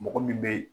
Mɔgɔ min bɛ